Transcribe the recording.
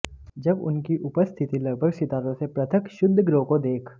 जब उनकी उपस्थिति लगभग सितारों से पृथक क्षुद्रग्रहों को देख